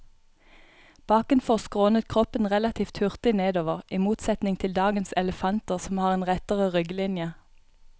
Bakenfor skrånet kroppen relativt hurtig nedover, i motsetning til dagens elefanter som har en rettere rygglinje.